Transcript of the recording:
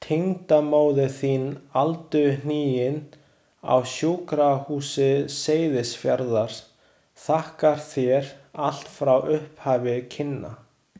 Tengdamóðir þín aldurhnigin, á Sjúkrahúsi Seyðisfjarðar, þakkar þér allt frá upphafi kynna.